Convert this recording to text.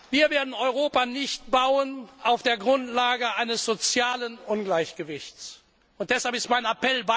Wir werden Europa nicht auf der Grundlage eines sozialen Ungleichgewichts bauen.